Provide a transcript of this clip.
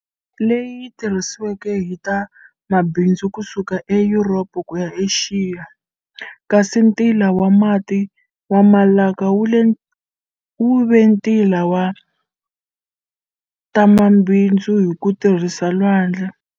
Leyi tirhisiweke hi ta mabindzu kusuka eYuropa kuya e Axiya, kasi ntila wa mati wa Malaka wuve ntila wa tamabindzu hi ku tirhisa lwandle.